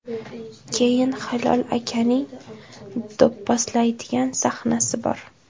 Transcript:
Keyin Hilol akaning do‘pposlaydigan sahnasi bor.